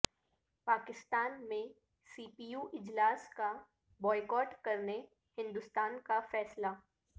پاکستان میں C P U اجلاس کا بائیکاٹ کرنے ہندوستان کا فیصلہ